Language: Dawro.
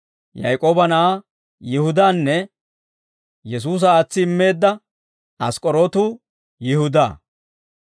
Yaak'ooba na'aa Yihudaanne Yesuusa aatsi immeedda ask'k'orootu Yihudaa.